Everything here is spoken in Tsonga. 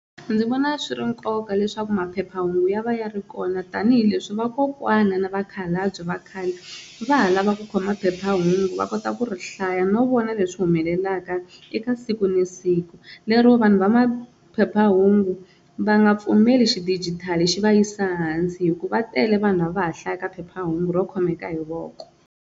Ndzi vona swi ri nkoka leswaku maphephahungu ya va ya ri kona tanihileswi vakokwana na vakhalabye va khale va ha lava ku khoma phephahungu va kota ku ri hlaya no vona leswi humelelaka ka eka siku na siku, lero vanhu va maphephahungu va nga pfumeli xidijitali xi va yisa hansi hikuva tele vanhu lava hlayaka phephahungu ro khomeka hi voko.